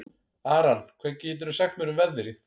Aran, hvað geturðu sagt mér um veðrið?